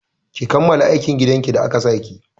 Ki kammala aikin gidan ki da aka sa ki!